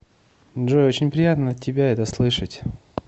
джой очень приятно от тебя это слышать